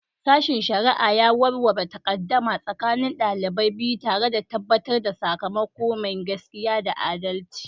Sashen shari'a ya warware takaddama tsakanin ɗalibai biyu, tare da tabbatar da sakamako mai gaskiya da adalci.